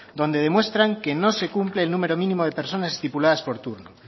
donde demuestran que no se cumple el número mínimo de personas estipuladas por turno